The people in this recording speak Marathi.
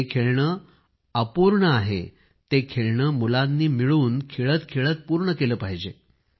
जे खेळणे अपूर्ण आहे आणि ते खेळणे मुलांनी मिळून खेळतखेळत पूर्ण केले पाहिजे